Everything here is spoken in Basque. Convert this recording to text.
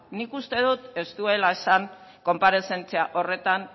nik uste dot ez duela esan konparezentzia horretan